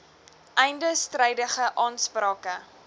einde strydige aansprake